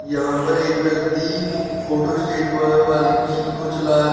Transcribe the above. यहां पर एक व्यक्ति फोटो स्टेट वाली मशीन को चला रहा है।